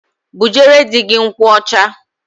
Bujere di gi nkwụ ọcha.